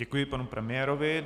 Děkuji panu premiérovi.